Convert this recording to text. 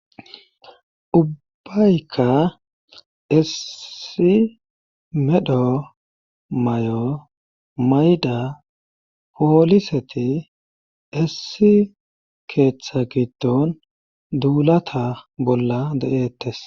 Ubbayka essi medho mayo mayda pooliseti essi keeththa giddon duulata bolla de'ettes.